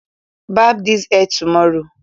Barb this hair tomorrow